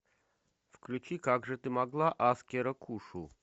включи как же ты могла аскера кушу